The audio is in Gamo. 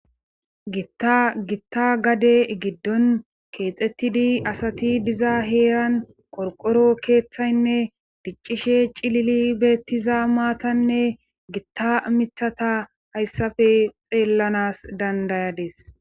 Gitta gade giddon keexettidi asati diza heeran qorqoro keeththaynne diccishe cilili beettiza maatanne gitta mithata hayssappe xeellanas dandayades.